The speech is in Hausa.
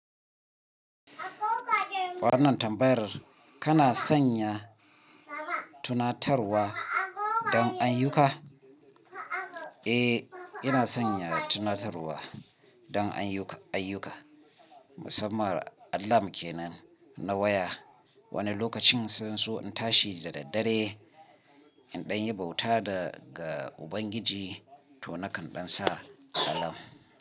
Wannan tambayar kana sanya tunatarwa don ayyuka? Eh, ina sanya tunatarwa don ayyuka, ayyuka. Musamman alarm kenan na waya. Wani lokacin sai in so in tashi da daddare in ɗan yi bauta da ga Ubangiji to nakan ɗan sa alarm.